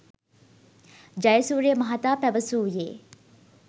ජයසූරිය මහතා පැවසූයේ